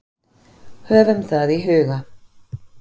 Höfum það í huga.